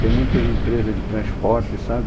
Tem muitas empresas de transporte, sabe?